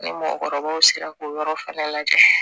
Ni mɔgɔkɔrɔbaw sera k'o yɔrɔ fana lajɛ